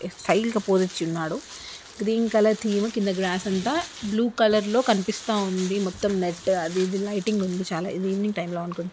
Style గ pose ఇచ్చి ఉన్నాడు. గ్రీన్ కలర్ థీమ్ కింద గ్రాస్ అంతా బ్లూ కలర్ లో కనిపిస్తా ఉంది మొత్తం నెట్ అది ఇది లైటింగ్ ఉంది చాలా ఇది ఈవెనింగ్ టైం లో అనుకుం--